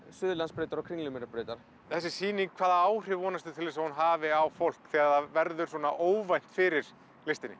Suðurlandsbrautar og Kringlumýrarbrautar þessi sýning hvaða áhrif vonast þú til að hún hafi á fólk þegar það verður óvænt fyrir listinni